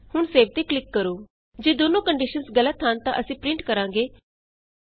ਹੁਣ ਸੇਵ ਤੇ ਕਲਿਕ ਕਰੋ ਜੇ ਦੋਨੋ ਕੰਡੀਸ਼ਨਸ ਗਲਤ ਹਨ ਤਾਂ ਅਸੀਂ ਪਰਿੰਟ ਕਰਾਂਗੇ ਜੋੜ 10 ਤੋਂ ਘਟ ਹੈ